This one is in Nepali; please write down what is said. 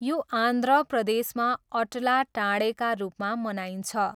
यो आन्ध्र प्रदेशमा अट्ला टाढेका रूपमा मनाइन्छ।